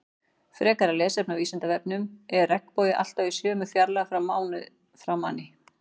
Frekara lesefni á Vísindavefnum Er regnbogi alltaf í sömu fjarlægð frá manni?